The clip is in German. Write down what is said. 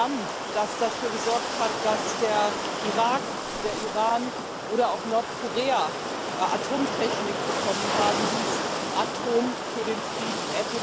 Das Programm, das dafür gesorgt hat, dass der Irak, der Iran oder auch Nordkorea Atomtechnik bekommen haben, hieß Atom für den Frieden